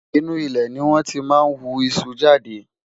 inú ilé ní wón tí má ń wú iṣu jáde